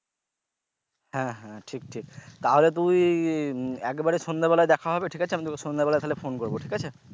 হ্যা হ্যা ঠিক ঠিক তাহলে তুই আহ একেবারে সন্ধ্যে বেলায় দেখা হবে ঠিক আছে আমি তোকে সন্ধ্যে বেলায় তাহলে ফোন করব ঠিক আছে।